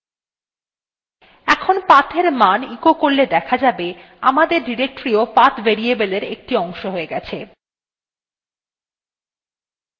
এখন pathএর মান echo করলে দেখা যাবে